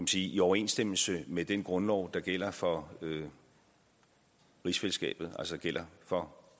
sige i overensstemmelse med den grundlov der gælder for rigsfællesskabet altså gælder for